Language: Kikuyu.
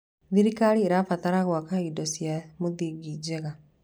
Thirikari ĩrabatara gwaka indo cia mũthingi njega.